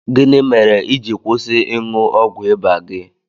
Gịnị mere i ji kwụsị ịṅụ ọgwụ ịba gị?